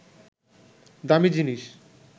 দামি জিনিস